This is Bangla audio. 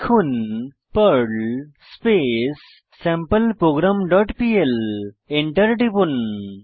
লিখুন পার্ল স্পেস sampleprogramপিএল Enter টিপুন